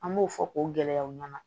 An b'o fɔ k'o gɛlɛyaw ɲɛna